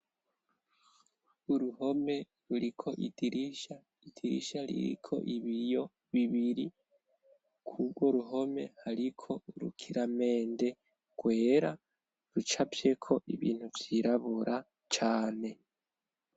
Uruhome ruriko idirisha, idirisha ririko ibiyo bibiri, kurwo ruhome ariko rukiramende gwera rucafyeko ibintu vyirabura cane.